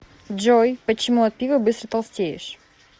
джой почему от пива быстро толстеешь